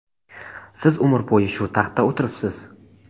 Siz umr bo‘yi shu taxtda o‘tiribsiz.